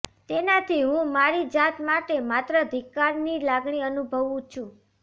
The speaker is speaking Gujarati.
તેનાથી હું મારી જાત માટે માત્ર ધિક્કારની લાગણી અનુભવું છું